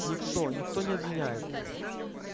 никто никто не обвиняет